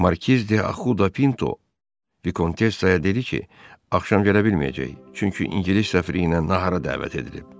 Markiz D'Ahu da Pinto Vikontessaya dedi ki, axşam gələ bilməyəcək, çünki ingilis səfirliyinə nahara dəvət edilib.